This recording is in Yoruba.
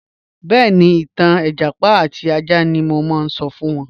Bẹẹni, ìtàn ẹjápá àti àjà ni mo n sọ̀ fún wọn